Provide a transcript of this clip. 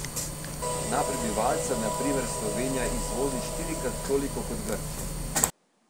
Na prebivalca na primer Slovenija izvozi štirikrat toliko kot Grčija.